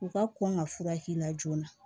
U ka kɔn ka furakɛ la joona